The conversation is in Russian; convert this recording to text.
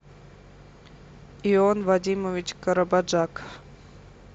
ион вадимович карабаджак